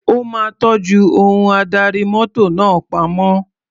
Ó máa tọ́jú ohun adarí mọ́tò náà pamọ́.